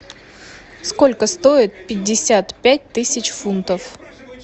сколько стоит пятьдесят пять тысяч фунтов